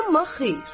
Amma xeyr.